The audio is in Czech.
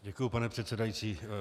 Děkuji, pane předsedající.